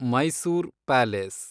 Mysore palace